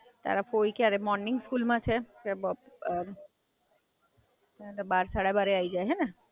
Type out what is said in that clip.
હાં, હવે તો કંપ્લીટ થઈ ગયું, ચાર-પાંચ મહિના થયા ને.